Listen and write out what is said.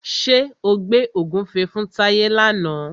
Ṣé o gbẹ́ ògúnfe fún Táyé làna?